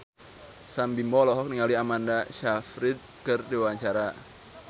Sam Bimbo olohok ningali Amanda Sayfried keur diwawancara